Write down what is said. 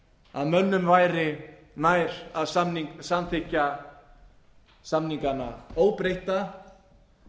að mönnum væri nær að samþykkja samningana óbreytta